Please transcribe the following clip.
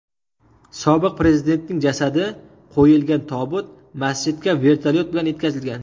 Sobiq prezidentning jasadi qo‘yilgan tobut masjidga vertolyot bilan yetkazilgan.